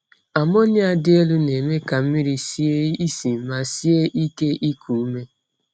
Ammonia dị elu na-eme ka mmiri sie isi ma sie ike iku ume.